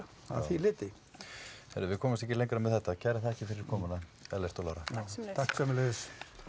að því leyti heyrðu við komumst ekki lengra með þetta kærar þakkir fyrir komuna Ellert og Lára takk sömuleiðis